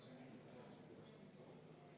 Palun võtta seisukoht ja hääletada!